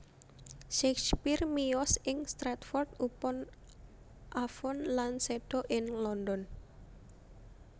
Shakespeare miyos ing Stratford upon Avon lan séda ing London